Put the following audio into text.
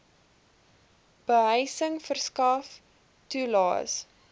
behuising verskaf toelaes